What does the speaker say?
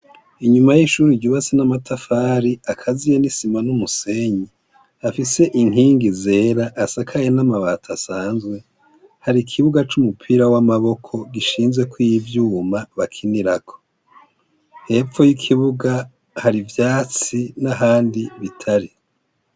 Inyuma y'ishuri ryubatse n'amatafari akaziye n'isima n'umusenyi . Afise inkingi zera asakaye n'amabati asanzwe, hari ikibuga c'umupira w'amaboko gishinzwe ko iy'ivyuma bakinirako, hepfo y'ikibuga hari ivyatsi n'ahandi bitari.